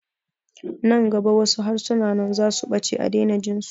Nan gaba wasu harsunan zasu ɓace a daina jinsu